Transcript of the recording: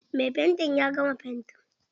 Mai fanti ya gama fanti.